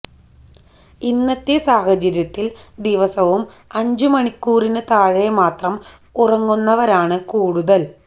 ഇന്നത്തെ സാഹചര്യത്തില് ദിവസവും അഞ്ച് മണിക്കൂറിന് താഴെ മാത്രം ഉറങ്ങുന്നവരാണ് കൂടുതല്